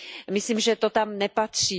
Myslím, že to tam nepatří.